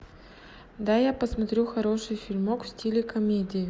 дай я посмотрю хороший фильмок в стиле комедии